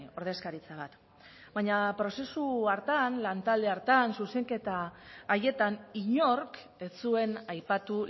ordezkaritza bat baina prozesu hartan lantalde hartan zuzenketa haietan inork ez zuen aipatu